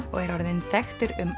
og er orðinn þekktur um